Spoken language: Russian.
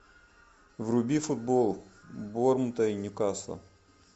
вруби футбол борнмута и ньюкасла